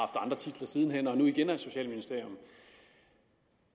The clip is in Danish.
andre titler siden hen og nu igen er socialministerium